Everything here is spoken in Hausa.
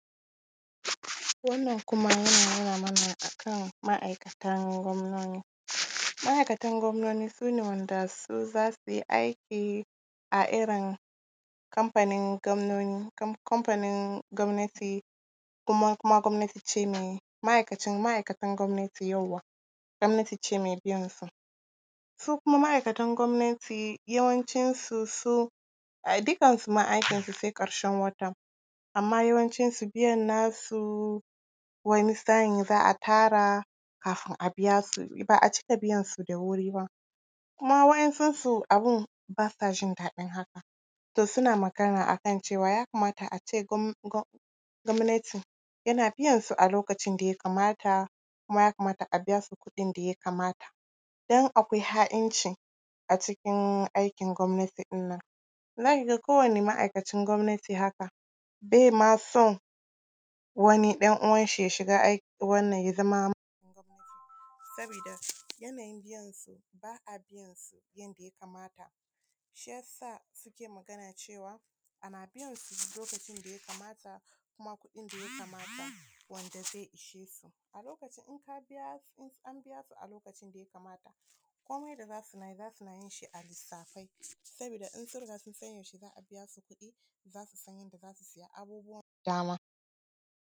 Wannan kuma yana nuna mana a kan ma’aikatan gwamnoni. Ma’aikatan gwamnoni su ne wanda su za su yi aiki a irin kamfanin gwamnoni, kamfanin gwamnati, kuma gwamnati ce mai… ma’ikatan gwamnati, yauwa! Gwamnati ce mai biyansu. Su kuma ma’aikatan gwamnati yawancinsu su, ai dukkansu ma sai ƙarshen wata, amma yawancinsu biyan nasu wani sa’in za a tara, kafin a biya su, ba a cika biyansu da wuri ba. Kuma waɗansunsu abin ba sa jin daɗin haka, to suna magana a kan ya kamata a ce gwamnati yana biyansu a lokacin da ya kamata kuma ya kamata a biya su kuɗin da ya kamata don akwai ha’inci a cikin aikin gwamnati ɗin nan. Za ka ga kowane ma’aikacin gwamnati haka, bai ma son wani ɗan uwanshi ya shiga aikin… wannan, ya zama…. Sabida yanayin biyansu, ba a biyansu yadda ya kamata. Shi ya sa suke magana cewa, ana biyansu duk lokacin da ya kamata, kuma kuɗin da ya kamata, wanda zai ishe su. A lokacin, in an biya su a lokacin da ya kamata, komai da za suna yi, za suna yin shi a lissafe, sabida in sun riga sun san lokacin da za a biya su kuɗi, za su san yadda za su siya abubuwa da dama.